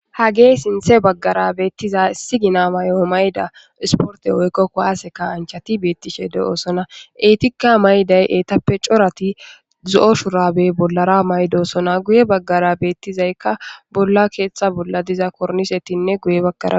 Hagee sinthe baggara beettiza issi gina may'o mayda isporte woykkokko waase ka anchati beettishe de'oosona eetika mayday eetappe corati zo'o shurabe bollara maydosona guye baggara beettizaykka bolla keetta bolla diza kornisettinne guye baggara.